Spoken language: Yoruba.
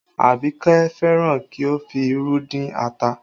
Abike fẹ́ràn kí o fi irú dín ata